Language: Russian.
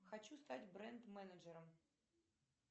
хочу стать бренд менеджером